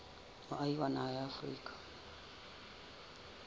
moahi wa naha ya afrika